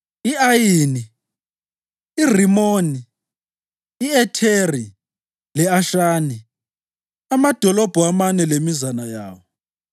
i-Ayini, iRimoni, i-Etheri le-Ashani, amadolobho amane lemizana yawo,